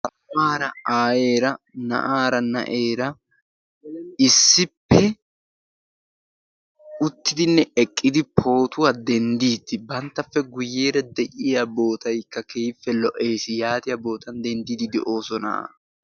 Aawara, aayyera, na'aara , naa'eera issippe utridinne eqqidi pootuwaa denddidi banttappe guuyyeera de'iyaa boottaykka keehippe lo"essi yaatiyaa bootan denddide de'oosona.